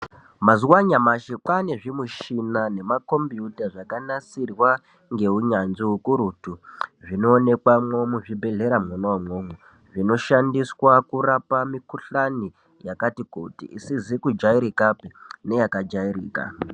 Mazuwa anyamashi kwaane zvimishina nemakombuuta zvakanasirwa ngeunyanzvi hukurutu. Zvinoonekamwo muzvibhedhlera mwona umwomwo. Zvinoshandiswa kurapa mukhuhlani yakati kuti. Isizi kujairikapi neyakajairika.